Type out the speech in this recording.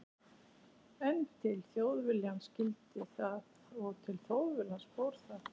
En til Þjóðviljans skyldi það og til Þjóðviljans fór það.